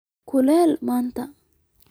Ukulele madhan